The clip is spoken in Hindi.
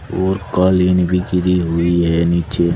और कालीन भी गिरी हुई है नीचे।